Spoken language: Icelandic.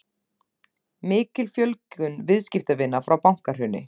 Mikil fjölgun viðskiptavina frá bankahruni